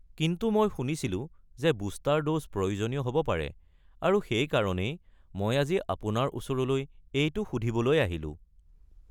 কিন্তু মই শুনিছিলোঁ যে বুষ্টাৰ ড'জ প্ৰয়োজনীয় হ'ব পাৰে, আৰু সেইকাৰণেই মই আজি আপোনাৰ ওচৰলৈ এইটো সুধিবলৈ আহিলোঁ।